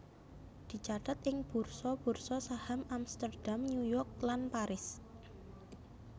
dicathet ing bursa bursa saham Amsterdam New York lan Paris